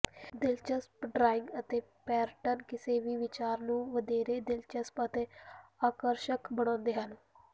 ਦਿਲਚਸਪ ਡਰਾਇੰਗ ਅਤੇ ਪੈਟਰਨ ਕਿਸੇ ਵੀ ਵਿਚਾਰ ਨੂੰ ਵਧੇਰੇ ਦਿਲਚਸਪ ਅਤੇ ਆਕਰਸ਼ਕ ਬਣਾਉਂਦੇ ਹਨ